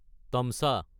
তামচা